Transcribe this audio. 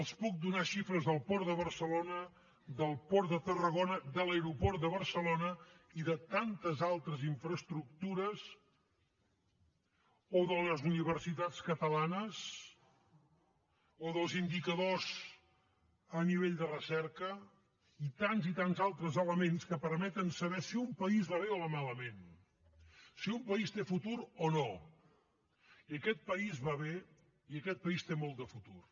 els puc donar xifres del port de barcelona del port de tarragona de l’aeroport de barcelona i de tantes altres infraestructures o de les universitats catalanes o dels indicadors a nivell de recerca i tants i tants altres elements que permeten saber si un país va bé o va malament si un país té futur o no i aquest país va bé i aquest país té molt de futur